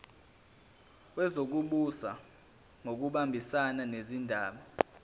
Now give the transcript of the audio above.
wezokubusa ngokubambisana nezindaba